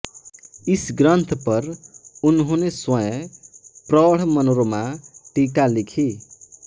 इस ग्रंथ पर उन्होंने स्वयं प्रौढ़ मनोरमा टीका लिखी